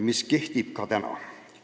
See kehtib ka täna.